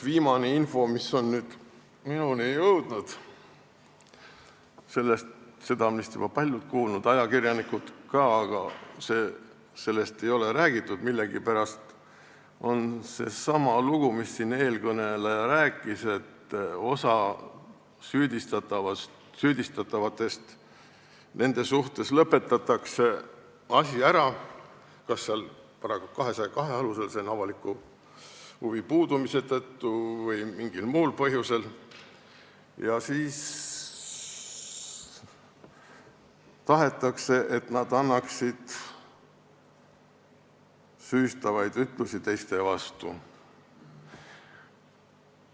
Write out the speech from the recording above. Viimane info, mis on minuni jõudnud – seda on vist juba paljud kuulnud, ajakirjanikud ka, aga sellest ei ole millegipärast räägitud –, on seesama lugu, mida siin eelkõneleja rääkis, et osa süüdistatavate suhtes lõpetatakse asi ära kas § 202 alusel, s.o avaliku huvi puudumise tõttu, või mingil muul põhjusel ja siis tahetakse, et need süüdistatavad annaksid ütlusi teiste vastu.